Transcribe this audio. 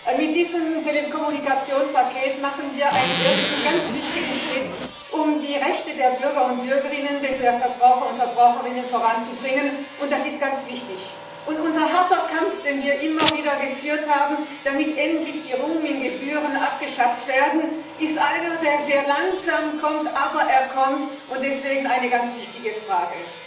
Herr Präsident! Mit diesem Telekommunikationspaket machen wir einen ersten ganz wichtigen Schritt, um die Rechte der Bürger und Bürgerinnen, die der Verbraucher und Verbraucherinnen voranzubringen, und das ist ganz wichtig. Und unser harter Kampf, den wir immer wieder geführt haben, damit endlich die Roaming Gebühren abgeschafft werden, zeitigt nur sehr langsam Ergebnisse, aber die Ergebnisse stellen sich ein, und dies ist deswegen eine ganz wichtige Frage.